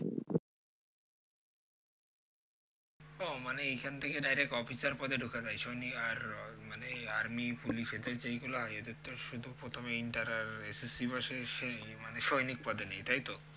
ও মানে এখান থেকে direct officer পদে ঢুকা যায়? সৈনিক আর মানে আর্মি পুলিশ এর যেগুলা এদের তো শুধু প্রথমে inter আর pass পাশের মানে সৈনিক পদে নেয় তাইতো?